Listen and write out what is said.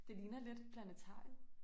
Det ligner lidt Planetariet